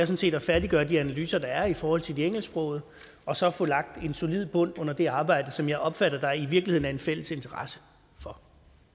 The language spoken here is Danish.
set at færdiggøre de analyser der er i forhold til de engelsksprogede og så få lagt en solid bund under det arbejde som jeg opfatter der i virkeligheden er en fælles interesse for